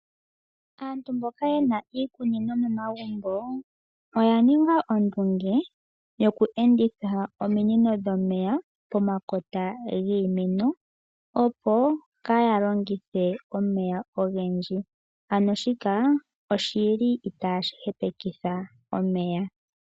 Aantu momikunda oya ninga iikunino, oya eta po ondunge dhiladhilo ombwaanawa yoku enditha ominino pomakota giimeno. Omukalo nguka omupe ihagu pumbwa omeya ogendji, shoka shi li itashi hepekitha omeya.